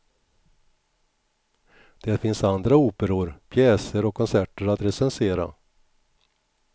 Det finns andra operor, pjäser och konserter att recensera.